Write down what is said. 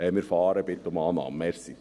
Wir fahren so und bitten um Annahme.